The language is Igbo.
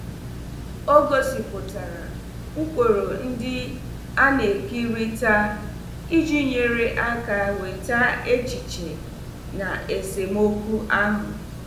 O gosipụtara ụkpụrụ ndị a na-ekerịta iji nyere aka weta echiche na esemokwu ahụ.